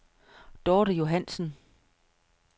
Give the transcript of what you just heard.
Dorthe Johannsen